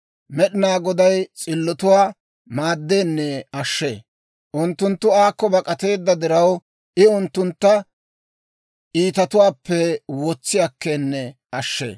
Med'inaa Goday s'illotuwaa maaddeenne ashshee. Unttunttu aakko bak'ateedda diraw, I unttuntta iitatuwaappe wotsi akkeenne ashshee.